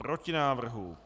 Proti návrhu.